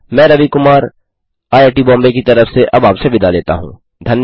मैं रवि कुमार आईआईटी बॉम्बे की तरफ से अब आपसे विदा लेता हूँ